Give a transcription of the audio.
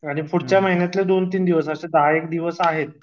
आणि पुढच्या महिन्याचे दहा एक दिवस असे दहा एक दिवस आहेत